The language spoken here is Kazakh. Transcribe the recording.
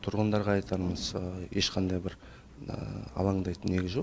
тұрғындарға айтарымыз ешқандай бір алаңдайтын негіз жоқ